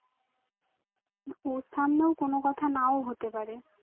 ওর সামনেও কোনো কথা নাও হতে পারে